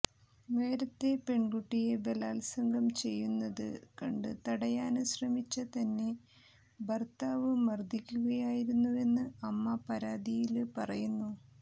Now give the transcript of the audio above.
നേരത്തെ പെണ്കുട്ടിയെ ബലാത്സംഗം ചെയ്യുന്നത് കണ്ട് തടയാന് ശ്രമിച്ച തന്നെ ഭര്ത്താവ് മര്ദ്ദിക്കുകയായിരുന്നുവെന്ന് അമ്മ പരാതിയില് പറയുന്നു